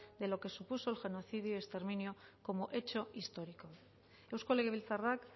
de lo que supuso el genocidio y exterminio como hecho histórico eusko legebiltzarrak